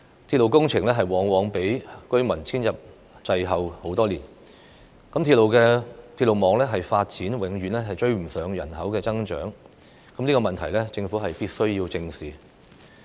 鐵路工程往往較居民遷入滯後多年，鐵路網發展永遠趕不上人口增長，這個問題是政府必須正視的。